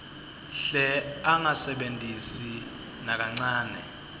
hle angasebentisi nakancane